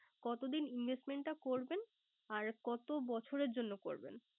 কত দিন Investment টা করবেন আর কত বছরের জন্য করবেন